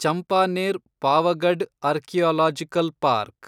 Champaner Pavagadh archaeological park